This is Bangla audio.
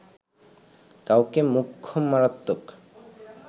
কাউকে মোক্ষম মারাত্মক